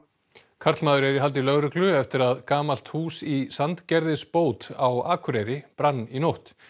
karlmaður er í haldi lögreglu eftir að gamalt hús í Sandgerðisbót á Akureyri brann í nótt